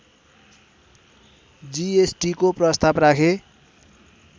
जिएसटिको प्रस्ताव राखे